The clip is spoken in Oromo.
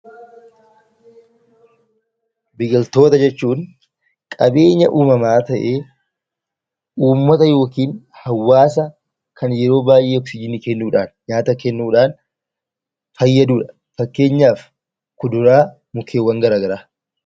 Biqiltoota jechuun qabeenya uumamaa ta'ee, uummata yookiin hawaasa kan yeroo baay'ee Oksijiinii kennuu dhaan, nyaata kennuu dhaan fayyadu dha. Fakkeenyaaf kuduraa, mukeewwan garaa garaa.